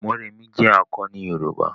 Mọ́remí jé akọni yoruba.